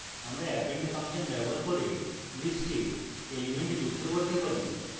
আমরা append function ব্যবহার করে list we elements যুক্ত করতে পারি